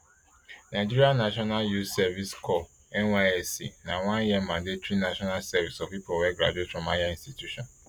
nigeria national youth service corps nysc na oneyear mandatory national service for pipo wey graduate from higher institution